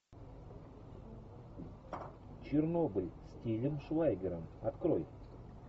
чернобыль с тилем швайгером открой